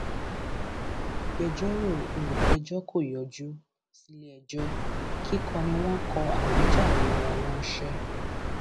àwọn agbẹjọrò olùpẹjọ kò yọjú síléẹjọ kíkọ ni wọn kó àwíjàre wọn ránṣẹ